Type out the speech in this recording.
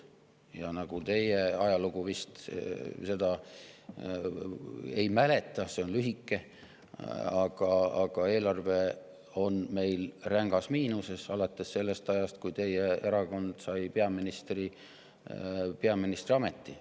Teie seda ajalugu vist ei mäleta, see on lühike, aga eelarve on meil olnud rängas miinuses alates sellest ajast, kui teie erakond sai peaministriameti.